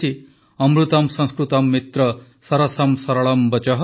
ଅମୃତମ୍ ସଂସ୍କୃତମ୍ ମିତ୍ର ସରସମ୍ ସରଳମ୍ ବଚଃ